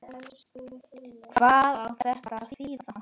Hvað á þetta að þýða?